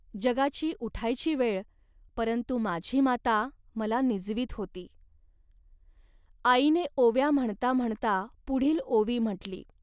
जगाची उठायची वेळ, परंतु माझी माता मला निजवीत होती. आईने ओव्या म्हणता म्हणता पुढील ओवी म्हटली